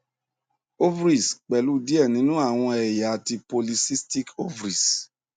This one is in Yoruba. ovaries pẹlu diẹ ninu awọn ẹya ti poly cystic ovaries